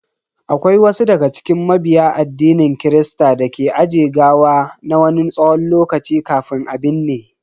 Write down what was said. Akwai wasu daga cikin mabiya addinin kirista dake aje gawa na wani tsawon lokaci kafin a binne.